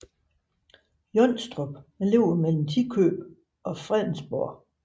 Jonstrup ligger mellem Tikøb og Fredensborg